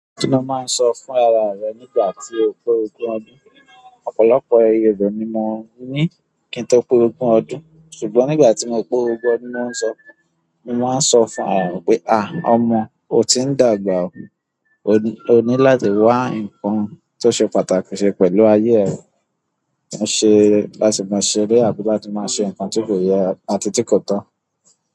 Kí ni o máa ń sọ fún ara rẹ nígbà tí o pé ogún ọdún? Ọ̀pọ̀lọpọ̀ èrò ni mo ní kí n to pé ogún ọdún, ṣùgbọ́n nígbà tí mo pé ogún ọdún, mo máa ń sọ fún ara rẹ̀ pé, "à, ọmọ, o ti ń dàgbà o, o ní láti wá nǹkan tó ṣe pàtàkì ṣe pẹ̀lú ayé rẹ, mo ṣe láti máa ṣe eré àbí láti máa ṣe nǹkan tí kò yẹ àti tí kò tọ́."